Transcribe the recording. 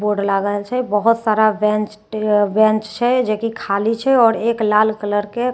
board लागल छै बहुत सारा बेंच टे बेच छै जैकी खाली छै आओर एक लाल कलर के चेयर --